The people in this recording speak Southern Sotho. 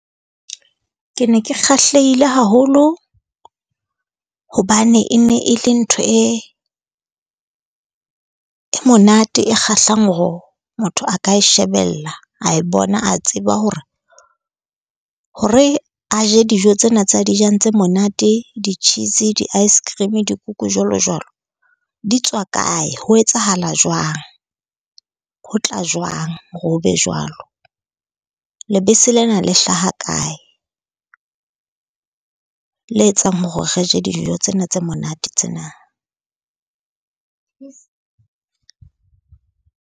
Ke ne ke kgahlehile haholo hobane e ne e le ntho e e monate e kgahlang hore motho a ka e shebella, a e bona a tseba hore ho re a je dijo tsena tseo a di jang tse monate. Di-cheese, di-ice cream, dikuku, jwalo jwalo, di tswa kae? Ho etsahala jwang? Ho tla jwang hore ho be jwalo? Lebese lena le hlaha kae? Le etsang hore re je dijo tsena tse monate tsena.